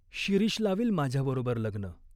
"शिरीष लावील माझ्याबरोबर लग्न.